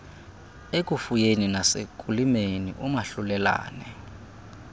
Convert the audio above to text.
ekufuyeni nasekulimeni umahlulelane